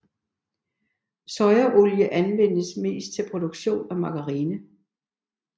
Sojaolie anvendes mest til produktion af margarine